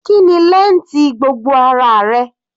Kíni length gbogbo ara rẹ?